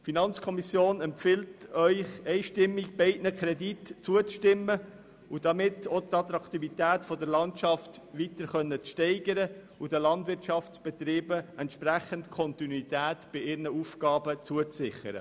Die Finanzkommission empfiehlt Ihnen einstimmig, beiden Krediten zuzustimmen um dadurch die Attraktivität der Landschaft weiter steigern zu können und den Landwirtschaftsbetrieben bei ihren Aufgaben entsprechend Kontinuität zuzusichern.